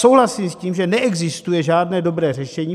Souhlasím s tím, že neexistuje žádné dobré řešení.